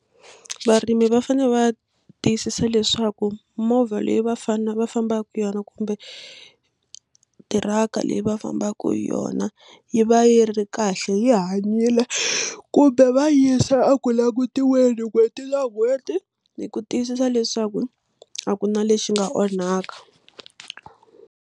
Varimi va fanele va tiyisisa leswaku movha leyi va fambaka hi yona kumbe tiraka leyi va fambaka hi yona yi va yi ri kahle yi hanyile kumbe va yisa a ku langutiweke n'hweti n'hweti ni ku tiyisisa leswaku a ku na lexi nga onhaka.